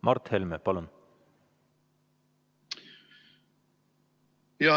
Mart Helme, palun!